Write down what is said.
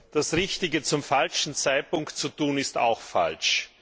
Das Richtige zum falschen Zeitpunkt zu tun, ist auch falsch.